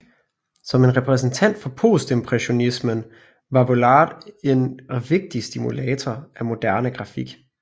Som en repræsentant for postimpressionismen var Vuillard en vigtig stimulator af moderne grafik